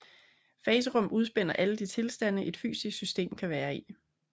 Faserum udspænder alle de tilstande et fysisk system kan være i